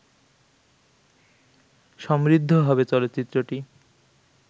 সমৃদ্ধ হবে চলচ্চিত্রটি